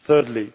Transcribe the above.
Thirdly,